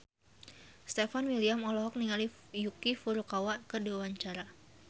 Stefan William olohok ningali Yuki Furukawa keur diwawancara